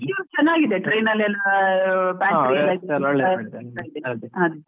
ಇವ್ರ್ ಚೆನ್ನಾಗಿದೆ train ಅಲ್ಲಿ ಎಲ್ಲಾ .